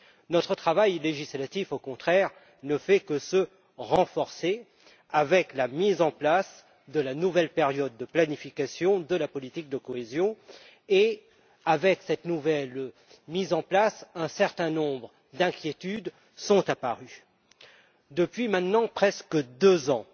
Notre travail législatif, au contraire, ne fait que se renforcer avec la mise en place de la nouvelle période de planification de la politique de cohésion et, avec elle, un certain nombre d'inquiétudes sont apparues. Depuis maintenant presque deux ans